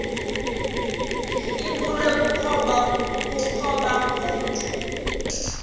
ibulewe kukopha ngokomntu